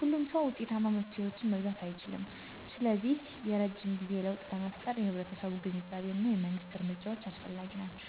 ሁሉም ሰው ውጤታማ መፍትሄዎችን መግዛት አይችልም, ስለዚህ የረጅም ጊዜ ለውጥ ለመፍጠር የህብረተሰቡ ግንዛቤ እና የመንግስት እርምጃዎች አስፈላጊ ናቸው.